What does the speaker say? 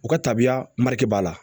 U ka tabiya b'a la